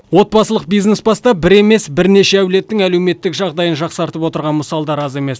отбасылық бизнес бастап бір емес бірнеше әулеттің әлеуметтік жағдайын жақсартып отырған мысалдар аз емес